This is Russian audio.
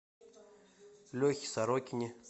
лехе сорокине